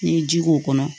N'i ye ji k'o kɔnɔ